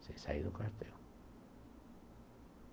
Sem sair do quartel.